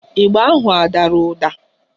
Ịgba ahụ adara ụda?